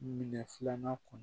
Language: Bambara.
Minɛ filanan kɔnɔ